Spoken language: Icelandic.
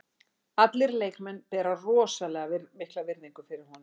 Allir leikmenn bera rosalega mikla virðingu fyrir honum.